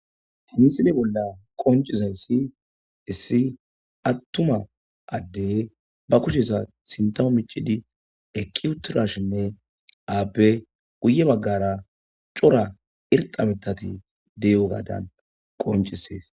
Ha misile bolla qoncizayssi issi attuma addey ba kusheesa sintomo michidi eki uturashinne aabe guye baggara cora irxabetati deyo gaadan qoncisees